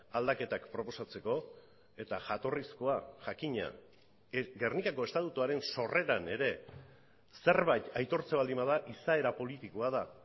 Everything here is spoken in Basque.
aldaketak proposatzeko eta jatorrizkoa jakina gernikako estatutuaren sorreran ere zerbait aitortzen baldin bada izaera politikoa da